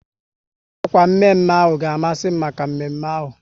Akwa mme mme ahụ ka masi m maka mme mme ahu